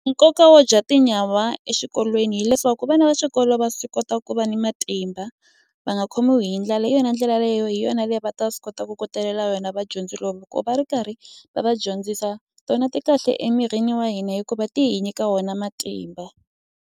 Nkoka wo dya tinyawa exikolweni hileswaku vana va xikolo va swi kota ku va ni matimba va nga khomiwi hi ndlala hi yona ndlela leyi hi yona leyi va ta swi kota ku kotelela yona vadyondzi lomu loko va ri karhi va va dyondzisa tona ti kahle emirini wa hina hikuva ti hi nyika wona matimba.